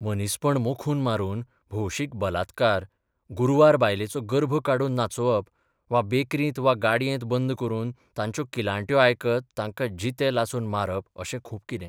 मनीसपण मोखून मारून भौशीक बलात्कार, गुरवार बायलेचो गर्भ काढून नाचोवप वा बेकरीत वा गाडयेंत बंद करून तांच्यो किलांट्यो आयकत तांकां जिते लासून मारप अशें खूब कितें.